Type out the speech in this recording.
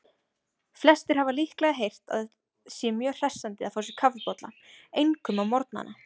Flestir hafa líklega heyrt að sé mjög hressandi að fá sér kaffibolla, einkum á morgnana.